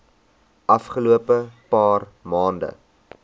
afgelope paar maande